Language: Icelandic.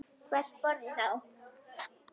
Hvers borði þá?